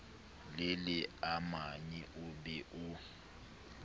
le leamanyi o be o